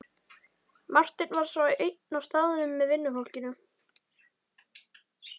Marteinn var einn á staðnum með vinnufólkinu.